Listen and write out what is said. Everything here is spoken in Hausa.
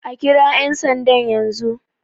A kira yan sandan yanzu!